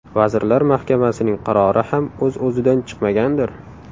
Vazirlar Mahkamasining qarori ham o‘z-o‘zidan chiqmagandir?